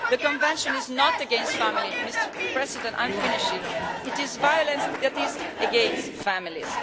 The Convention is not against family Mr President, I'm finishing it is against violence that is against families.